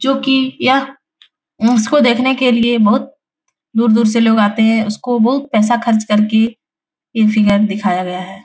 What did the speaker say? जो की यह उसको देखने के लिए बहुत दूर-दूर से लोग आते है उसको बहुत पैसा खर्च कर के ये फिगर दिखाया गया है |